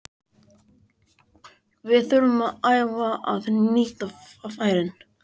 Við þurfum að æfa að nýta færin.